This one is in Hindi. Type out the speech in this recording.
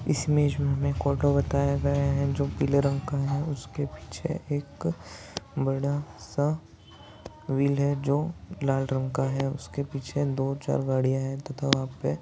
इस इमेज मे हमे जो पीले रंग का है उसके पीछे एक बड़ा सा व्हील है जो लाल रंग का है उसके पीछे दो चार गाड़ियां है तथा वहा पे--